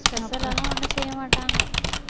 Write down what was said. special எல்லாம் ஒண்ணும் செய்ய மாட்டாங்க